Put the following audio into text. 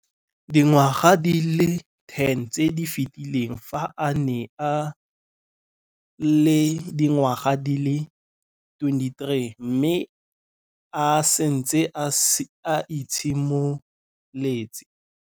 Dingwaga di le 10 tse di fetileng, fa a ne a le dingwaga di le 23 mme a setse a itshimoletse.